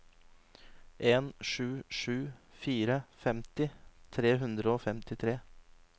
en sju sju fire femti tre hundre og femtitre